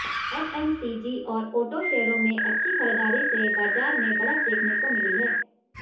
FMCG और auto शेयरों में अच्छी खरीदारी से बाजार में बढ़त देखने को मिली है